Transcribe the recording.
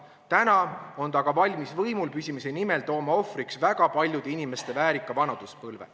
Täna on ta valmis võimul püsimise nimel tooma ohvriks väga paljude inimeste väärika vanaduspõlve.